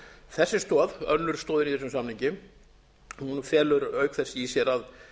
þessi stoð önnur stoðin í þessum samningi felur í sér að